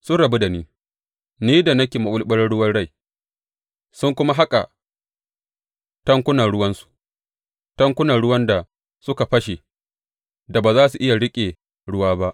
Sun rabu da ni, ni da nake maɓulɓular ruwan rai, sun kuma haƙa tankunan ruwansu, tankuna ruwan da suka fashe da ba za su iya riƙe ruwa ba.